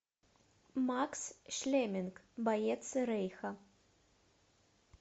макс шмелинг боец рейха